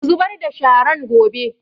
Ku zubar da sharan gobe!